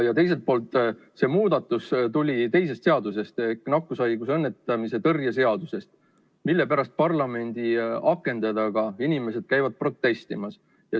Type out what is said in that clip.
Ja teiselt poolt see muudatus tuli teisest seadusest ehk nakkushaiguste ennetamise ja tõrje seadusest, mille pärast parlamendi akende taga inimesed käivad protestimas.